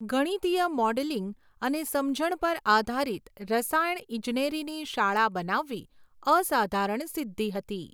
ગણિતીય modelling અને સમજણ પર આધારિત રસાયણ ઇજનેરીની શાળા બનાવવી અસાધારણ સિદ્ધી હતી.